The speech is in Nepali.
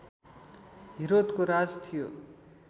हिरोदको राज थियो